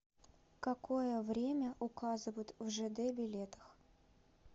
какое время указывают в жд билетах